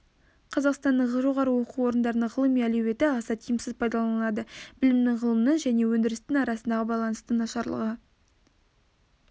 қазақстанның жоғары оқу орындарының ғылыми әлеуеті аса тиімсіз пайдаланылады білімнің ғылымның және өндірістің арасындағы байланыстың нашарлығы